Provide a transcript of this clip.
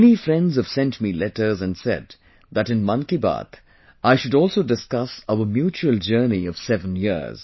Many friends have sent me letters and said that in 'Mann Ki Baat', I should also discuss our mutual journey of 7 years